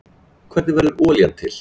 Hvernig verður olían til?